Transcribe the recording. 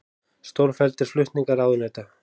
Stórfelldir flutningar ráðuneyta